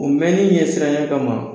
O mɛnni ɲɛsiranya ka ma